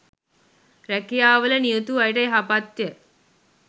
රැකියාවල නියුතු අයට යහපත්ය.